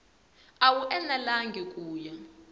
a wu enelangi ku ya